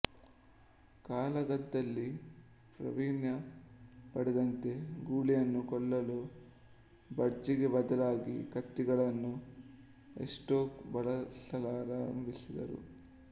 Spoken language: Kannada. ಕಾಳಗದಲ್ಲಿ ಪ್ರಾವೀಣ್ಯ ಪಡೆದಂತೆ ಗೂಳಿಯನ್ನು ಕೊಲ್ಲಲು ಭರ್ಜಿಗೆ ಬದಲಾಗಿ ಕತ್ತಿಗಳನ್ನು ಎಸ್ಟೋಕ್ ಬಳಸಲಾರಂಭಿಸಿದರು